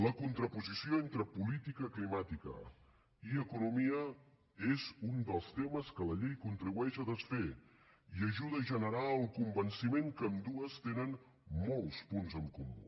la contraposició entre política climàtica i economia és un dels temes que la llei contribueix a desfer i ajuda a generar el convenciment que ambdues tenen molts punts en comú